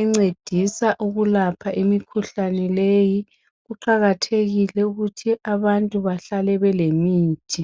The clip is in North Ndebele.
encedisa ukulapha imikhuhlane leyi kuqakathekile ukuthi abantu bahlale belemithi